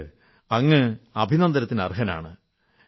അതുകൊണ്ട് അങ്ങ് അഭിനന്ദനത്തന് അർഹനാണ്